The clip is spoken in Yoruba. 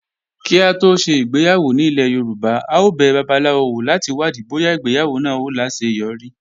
Kí á tó ṣe ìgbéyàwó nílẹ̀ Yorùbá, a ó bẹ babaláwo wò láti wádìí bóyá ìgbéyàwó náà ó láseyọrí.